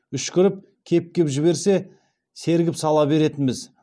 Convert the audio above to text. үшкіріп кеп кеп жіберсе сергіп сала беретінбіз